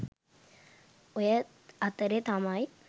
ඔය අතරෙ තමයි